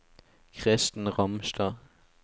Kristen Ramstad